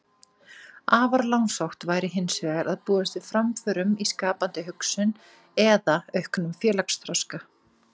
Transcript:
Afar langsótt væri hins vegar að búast við framförum í skapandi hugsun eða auknum félagsþroska.